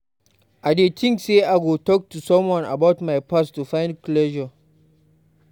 I dey think say I go talk to someone about my past to find closure.